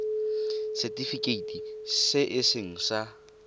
setifikeiti se e seng sa